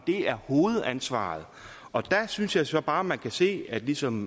er hovedansvaret og der synes jeg så bare man kan se at ligesom